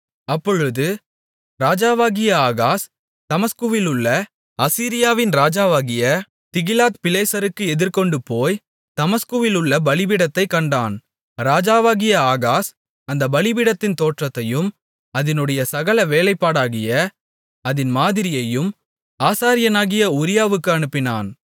அப்பொழுது ராஜாவாகிய ஆகாஸ் தமஸ்குவிலுள்ள அசீரியாவின் ராஜாவாகிய திகிலாத்பிலேசருக்கு எதிர்கொண்டுபோய்த் தமஸ்குவிலுள்ள பலிபீடத்தைக் கண்டான் ராஜாவாகிய ஆகாஸ் அந்தப் பலிபீடத்தின் தோற்றத்தையும் அதினுடைய சகல வேலைப்பாடாகிய அதின் மாதிரியையும் ஆசாரியனாகிய உரியாவுக்கு அனுப்பினான்